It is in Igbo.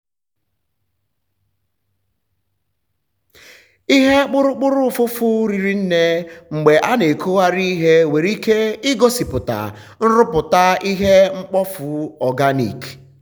ihe kpụrụkpụrụ ụfụfụ riri nne mgbe a na-ekugharị ihe nwere ike igosi nrụpụta ihe mkpofu organic.